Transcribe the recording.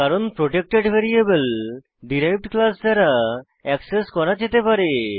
কারণ protected variable derived class দ্বারা access করা যেতে পারে